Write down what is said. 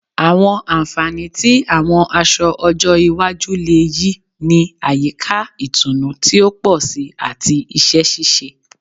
Àwọn ànfàní tí àwọn aṣọ ọjọ́ iwájú le yí ni àyíká ìtùnú ti o pọ si ati iṣẹ ṣiṣe